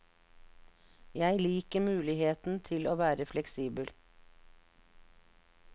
Jeg liker muligheten til å være litt fleksibel.